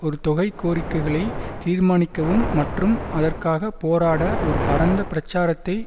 ஒரு தொகை கோரிக்கைகளை தீர்மானிக்கவும் மற்றும் அதற்காக போராட ஒரு பரந்த பிரச்சாரத்தை